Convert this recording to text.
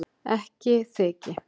Ekki þyki